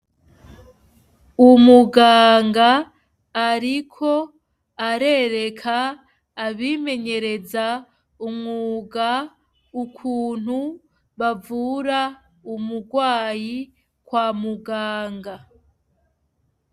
Umuganga ariko arereka abimenyereza umwuga ukuntu bavura umugwayi kwa muganga.